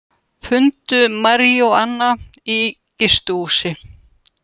Fundu maríjúana í gistihúsi